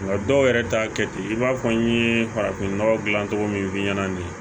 Nka dɔw yɛrɛ t'a kɛ ten i b'a fɔ n ye farafin nɔgɔ dilan cogo min f'i ɲɛna nin ye